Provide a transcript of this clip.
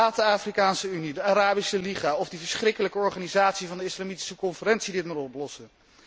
Laat de Afrikaanse Unie, de Arabische Liga of die verschrikkelijke Organisatie van de Islamitische Conferentie dit maar oplossen.